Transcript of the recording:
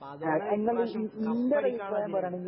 അതുകൊണ്ടാണ് ഈ പ്രാവശ്യം കപ്പടിക്കാനുളള